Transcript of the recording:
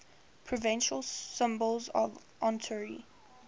provincial symbols of ontario